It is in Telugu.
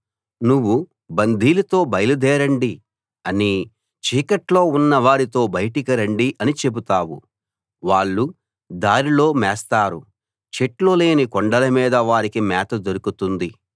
నువ్వు బందీలతో బయలుదేరండి అనీ చీకట్లో ఉన్నవారితో బయటికి రండి అనీ చెబుతావు వాళ్ళు దారిలో మేస్తారు చెట్లు లేని కొండలమీద వారికి మేత దొరుకుతుంది